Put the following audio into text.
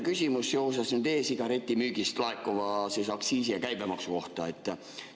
Mul on teile küsimus e-sigareti müügist laekuva aktsiisi ja käibemaksu kohta.